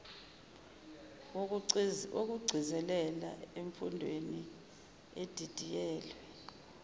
wokugcizelela emfundweni edidiyelwe